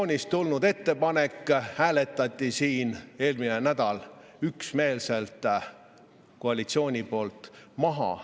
Opositsiooni ettepaneku hääletas koalitsioon eelmisel nädalal üksmeelselt maha.